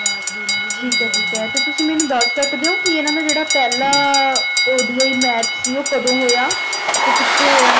ਠੀਕ ਏ ਠੀਕ ਤੇ ਤੁਸੀ ਮੈਨੂੰ ਦਸ ਸਕਦੇ ਹੋ ਕਿ ਇਹਨਾਂ ਦਾ ਜਿਹੜਾ ਪਹਿਲਾ ODI ਮੈਚ ਸੀ ਉਹ ਕੱਢ ਹੋਇਆ ਤੇ ਕਿਥੇ ਹੋਇਆ